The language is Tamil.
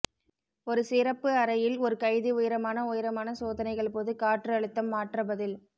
ஒரு சிறப்பு அறையில் ஒரு கைதி உயரமான உயரமான சோதனைகள் போது காற்று அழுத்தம் மாற்ற பதில்